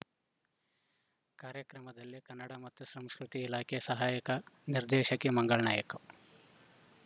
ಕಾರ್ಯಕ್ರಮದಲ್ಲಿ ಕನ್ನಡ ಮತ್ತು ಸಂಸ್ಕೃತಿ ಇಲಾಖೆ ಸಹಾಯಕ ನಿರ್ದೇಶಕಿ ಮಂಗಳಾ ನಾಯಕ್‌